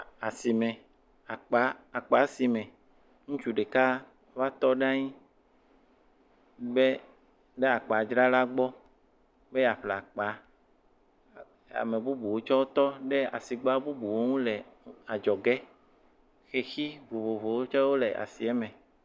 Asime, akpa akpasime, ŋutsu ɖeka va tɔ ɖe anyi ɖe akpadzrala gbɔ be yeaƒle akpa. Ame bubuwo tsɛ wotɔ ɖe asigba bubuwo ŋu le adzɔge. Xexi vovovowo tsɛ wole asia me.